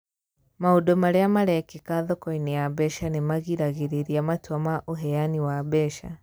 Maũndũ marĩa marekĩka thoko-inĩ ya mbeca nĩ magiragĩrĩria matua ma ũheani wa mbeca.